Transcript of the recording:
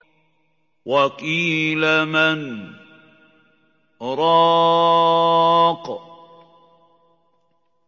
وَقِيلَ مَنْ ۜ رَاقٍ